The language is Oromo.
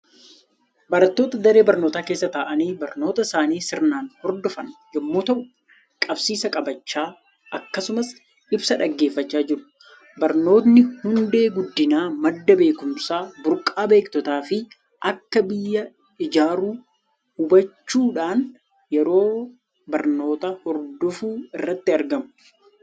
Barattoota daree barnootaa keessa taa'anii barnoota isaanii sirnaan hordofan yommuu ta'u, qabsiisa qabachaa akkasumas ibsa dhaggeeffachaa jiru. Barnootni hundee guddinaa, madda beekumsaa, burqaa beektotaa fi akka biyya ijaaru hubachuudhaan yeroo barnoota hordofuu irratti argamu.